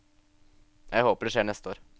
Jeg håper det skjer neste år.